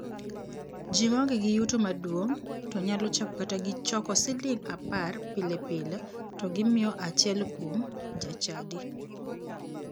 Ji maonge gi yuto maduong' to nyalo chako kata gi choko siling 10 pile pile to gimiyo achiel kuom jachadi.